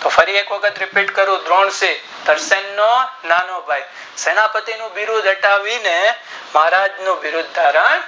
તો ફરી એ વખત repeat કરું દ્રોણતી કિસાન નો નાનો ભાઈ સેનાએ પતિ નું બિરુદ હટાવી ને મહારાજ નું બિરુદ ધારણ